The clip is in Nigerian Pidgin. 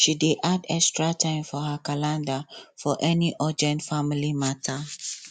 she dey add extra time for her calendar for any urgent family matter